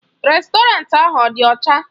Rèstọrantị ahụ ọ dị ọcha?